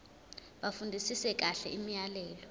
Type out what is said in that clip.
bafundisise kahle imiyalelo